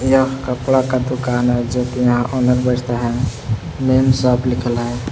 यह कपड़ा का दुकान है जो कि यहां ओनर बैठता है मेम साब लिखल है।